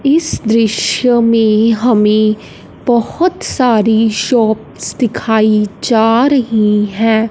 इस दृश्य में हमें बहोत सारी शॉप्स दिखाई जा रही है।